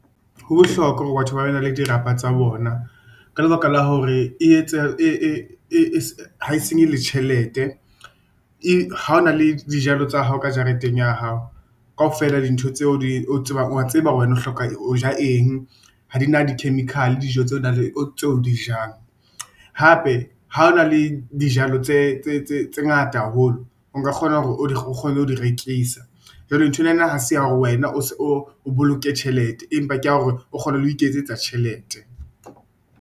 Ho bohlokwa hore batho ba be bane le dirapa tsa bona ka lebaka la hore e etsa ha e senye le tjhelete, ha o na le dijalo tsa hao ka jareteng ya hao kaofela dintho tseo di o tsebang, wa tseba wena o hloka ho ja eng. Ha di na di-chemical dijo tseo o dijang hape ha o na le dijalo tse ngata haholo, o ka kgona hore o kgone ho di rekisa. Jwale nthwena nang ha se ya hore wena o boloke tjhelete, empa ke ya hore o kgone le ho iketsetsa tjhelete.